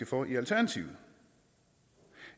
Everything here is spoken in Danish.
for i alternativet